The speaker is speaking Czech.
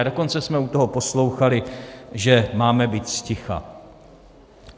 A dokonce jsme u toho poslouchali, že máme být zticha.